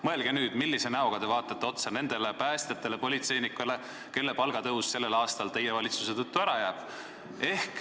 Mõelge nüüd, millise näoga te vaatate otsa nendele päästjatele ja politseinikele, kelle palgatõus sellel aastal teie valitsuse tõttu ära jääb.